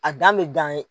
A dan bɛ dan ye